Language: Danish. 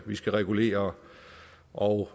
og